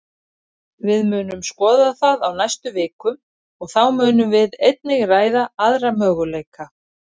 Við munum skoða það á næstu vikum, og þá munum við einnig ræða aðra möguleika.